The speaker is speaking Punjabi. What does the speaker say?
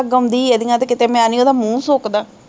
ਗਾਉਂਦੀ ਇਹਦੀਆਂ ਤੇ ਕਿਤੇ ਮੈਂ ਨੀ ਉਹਦਾ ਮੂੰਹ ਸੁੱਕਦਾ